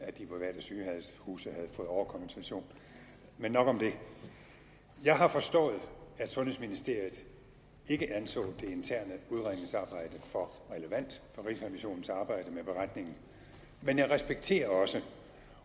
at de private sygehuse havde fået overkompensation men nok om det jeg har forstået at sundhedsministeriet ikke anså det interne udredningsarbejde for relevant for rigsrevisionens arbejde med beretningen men jeg respekterer også